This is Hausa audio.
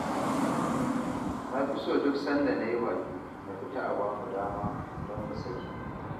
Na fi so duk sanda na yi baƙi, a fita a ba mu dama don mu sake